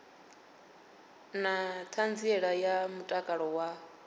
na ṱhanziela ya mutakalo wa